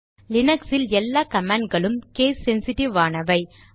லீனக்ஸில் எல்லா கமாண்ட் களும் கேஸ் சென்சிட்டிவ் ஆனாவை